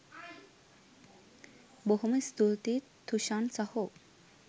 බොහොම ස්තූතියි තුෂාන් සහෝ